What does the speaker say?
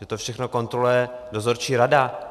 Že to všechno kontroluje dozorčí rada.